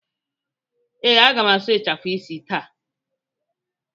Ee, aga m asụ ịchafụ isi taa.